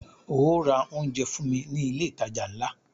Óò ra oúnjẹ fún mí ní ilé ìtajà ńlá!